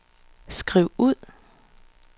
skriv ud